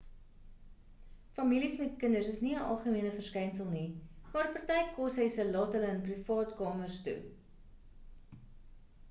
families met kinders is nie 'n algemene verskynsel nie maar party koshuise laat hulle in privaat kamers toe